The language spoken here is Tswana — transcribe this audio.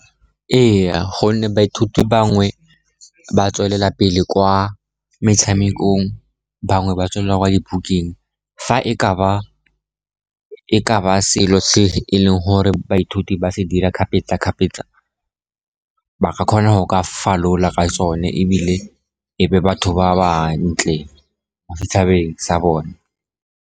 Ee, gonne baithuti bangwe ba tswelela pele kwa metshamekong, bangwe ba tswelela kwa dibukeng. Fa e ka ba selo se e leng gore baithuti ba se dira kgapetsakgapetsa ba ka kgona go ka falola ka sone ebile ebe batho ba ba ntle mo setšhabeng sa bone.